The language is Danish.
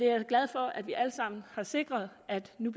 er glad for at vi alle sammen har sikret at det nu